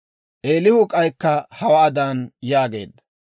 Eelihu k'aykka hawaadan yaageedda;